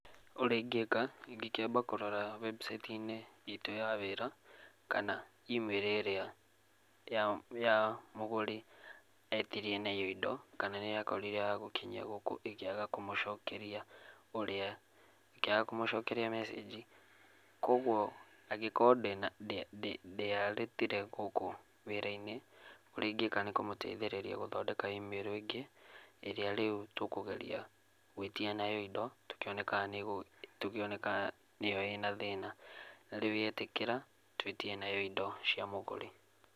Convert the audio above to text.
Ũrĩa ingĩka, ingĩkĩamba kũrora webucaiti-inĩ itũ ya wĩra, kana imĩrũ ĩrĩa ya ya mũgũri, etirie nayo indo, kana nĩye akorire agũkinyia gũkũ ĩkĩaga kũmũcokeria ũrĩa, ĩkĩaga kũmũcokeria mecĩngi, kuoguoa angĩkorwo ndĩaretire gũkũ wĩra-inĩ, ũrĩa ingĩka nĩkũmũteithĩrĩria gũthondeka imĩrũ ĩngĩ, ĩrĩa rĩu tũkũgeria gwĩtia nayo indo, tũkĩone kana nĩgũ, tũkĩone kana nĩyo ĩna thĩna. Rĩu yetĩkĩra, twĩtie nayo indo cia mũgũri.